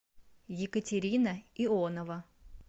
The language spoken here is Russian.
екатерина ионова